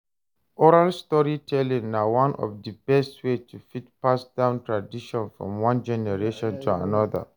Oral storytelling na one of di best way to fit pass down tradition from one generation to another